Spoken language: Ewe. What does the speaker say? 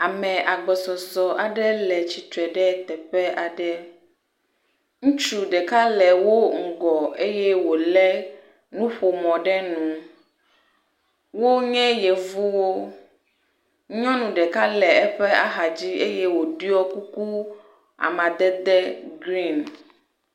Ame agbɔsɔsɔ aɖe le tsitre ɖe teƒe aɖe. Ŋutsu ɖeka le wo ŋgɔ eye wolé nuƒomɔ ɖe nu. Wonye yevuwo. Nyɔnu ɖeka le eƒe axadzi eye woɖɔ kuku amadede griŋ.